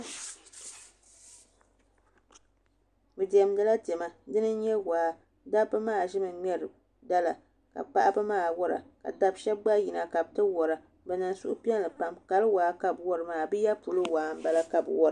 Bi diɛmdila diɛma dini n nyɛ waa dabba maa ʒimi ŋmɛri dala ka paɣaba maa wora ka daba shab gba yina ka bi ti wora bi niŋ suhupiɛlli pam kali waa ka bi wori maa bi yɛ polo waa n bala ka bi wora